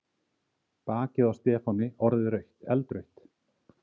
Bakið á Stefáni orðið eldrautt.